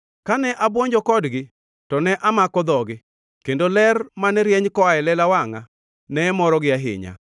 Kane abwonjo kodgi to ne amako dhogi; kendo ler mane rieny koa e lela wangʼa, ne morogi ahinya.